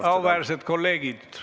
Kuulge, auväärsed kolleegid!